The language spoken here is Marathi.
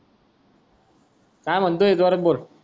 काय म्हणतोय जोरात बोल